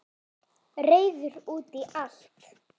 Reiður út í allt.